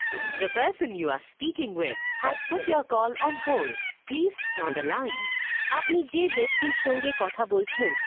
তোমার recording playing